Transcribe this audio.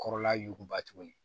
Kɔrɔla yuguba tuguni